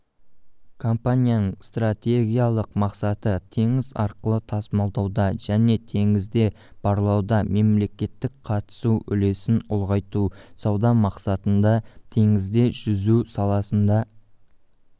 компанияныңстратегиялық мақсатытеңіз арқылы тасымалдауда және теңізде барлауда мемлекеттік қатысу үлесін ұлғайту сауда мақсатында теңізде жүзу саласында